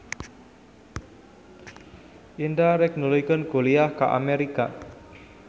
Indra rek nuluykeun kuliah ka Amerika